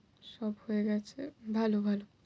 সব হয়ে গেছে। ভালো ভালো।